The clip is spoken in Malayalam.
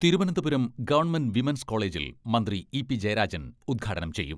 തിരുവനന്തപുരം ഗവൺമെന്റ് വിമൻസ് കോളജിൽ മന്ത്രി ഇ.പി.ജയരാജൻ ഉദ്ഘാടനം ചെയ്യും.